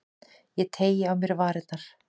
Ég teygi á mér varirnar.